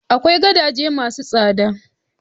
Akwai gadaje ma su tsada